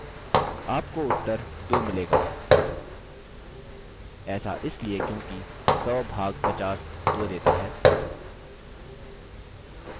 आपको उत्तर 2 मिलेगा ऐसा इसलिए क्योंकि 100 भाग 50 2 देता है